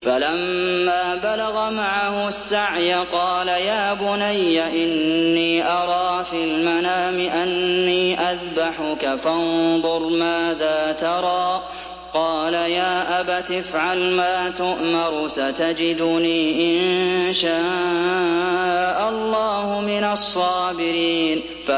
فَلَمَّا بَلَغَ مَعَهُ السَّعْيَ قَالَ يَا بُنَيَّ إِنِّي أَرَىٰ فِي الْمَنَامِ أَنِّي أَذْبَحُكَ فَانظُرْ مَاذَا تَرَىٰ ۚ قَالَ يَا أَبَتِ افْعَلْ مَا تُؤْمَرُ ۖ سَتَجِدُنِي إِن شَاءَ اللَّهُ مِنَ الصَّابِرِينَ